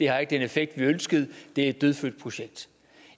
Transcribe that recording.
har den effekt man ønskede at det er et dødfødt projekt